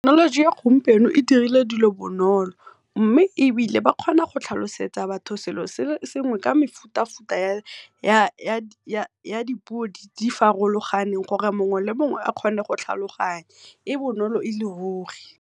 Thekenoloji ya gompieno e dirile dilo bonolo mme ebile ba kgona go tlhalosetsa batho selo se le sengwe ka mefuta-futa ya dipuo, di farologane gore mongwe le mongwe a kgone go tlhaloganya e bonolo e le ruri.